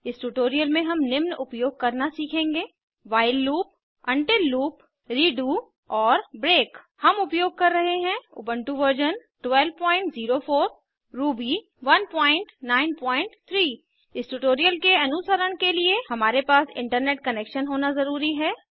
इस ट्यूटोरियल में हम निम्न उपयोग करना सीखेंगे while loop until loop redo और ब्रेक हम उपयोग कर रहे हैं उबन्टु वर्जन 1204 रूबी 193 इस ट्यूटोरियल के अनुसरण के लिए हमारे पास इंटरनेट कनेक्शन होना ज़रूरी है